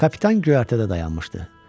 Kapitan göyərtədə dayanmışdı.